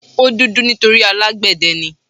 O dúdú nítorí alágbẹ̀dẹ ni.